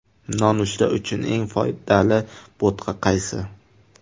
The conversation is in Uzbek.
Nonushta uchun eng foydali bo‘tqa qaysi?.